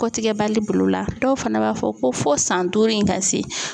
Kɔtigɛbali bil'o la dɔw fana b'a fɔ ko fo san duuru in ka se.